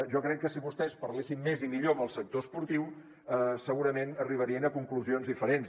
jo crec que si vostès parlessin més i millor amb el sector esportiu segurament arribarien a conclusions diferents